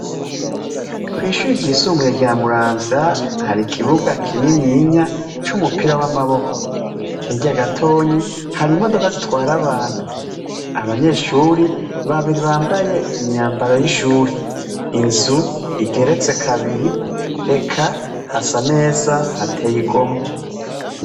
Kw'ishure ryisumbuye rya muramvya har'ikibuga kininiya c'umupira w'amaboko hirya gatoyi har'imodoka zitwara abantu, abanyeshure babiri bambaye imyambaro y'ishure, inzu igeretse kabiri eka hasa neza hateye igomwe.